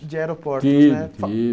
De aeroportos, né? Tive tive